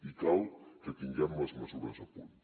i cal que tinguem les mesures a punt